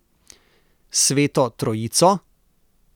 Sveto trojico?